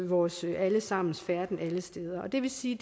vores alle sammens færden alle steder det vil sige